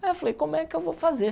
Aí eu falei, como é que eu vou fazer?